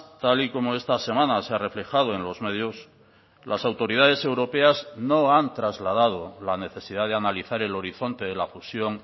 tal y como esta semana se ha reflejado en los medios las autoridades europeas no han trasladado la necesidad de analizar el horizonte de la fusión